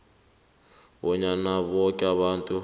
bonyana boke abantu